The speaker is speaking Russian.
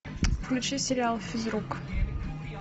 включи сериал физрук